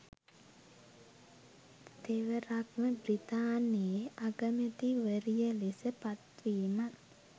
තෙවරක්ම බ්‍රිතාන්‍යයේ අගමැතිවරිය ලෙස පත්වීමත්